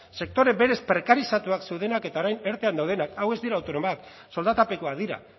sektore berez prekarizatuak zeudenak eta orain erten daudenak hau ez dira autonomoak soldatapekoak dira